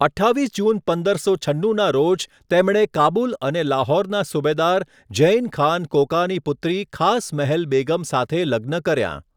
અઠ્ઠાવીસ જૂન પંદરસો છન્નુના રોજ, તેમણે કાબુલ અને લાહોરના સુબેદાર ઝૈન ખાન કોકાની પુત્રી ખાસ મહેલ બેગમ સાથે લગ્ન કર્યા.